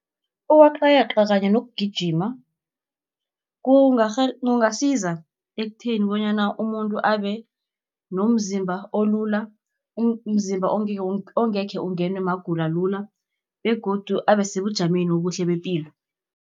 Ukweqayeqa kanye nokugijima kungasiza ekutheni, bonyana umuntu abe nomzimba olula, umzimba ongekhe ungenwe magulo lula, begodu asebujameni obuhle bepilo.